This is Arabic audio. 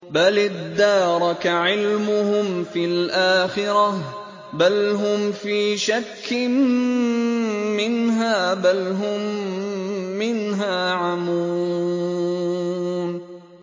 بَلِ ادَّارَكَ عِلْمُهُمْ فِي الْآخِرَةِ ۚ بَلْ هُمْ فِي شَكٍّ مِّنْهَا ۖ بَلْ هُم مِّنْهَا عَمُونَ